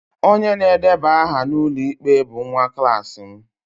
Onye na-edeba aha n'ụlọikpe bụ nwa klas m